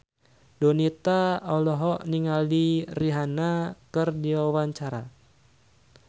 Donita olohok ningali Rihanna keur diwawancara